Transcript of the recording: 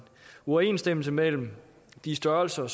uoverensstemmelse mellem de størrelser